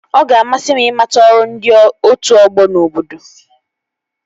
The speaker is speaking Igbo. Ọ ga-amasị m ịmata ọrụ ndị otu ọgbọ n'obodo